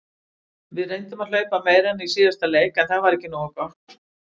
Við reyndum að hlaupa meira en í síðasta leik en það var ekki nógu gott.